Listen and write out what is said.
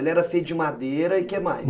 Ele era feito de madeira e o que mais?